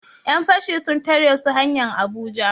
Yan fashi sun tare su hanyar Abuja